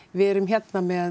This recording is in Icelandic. við erum með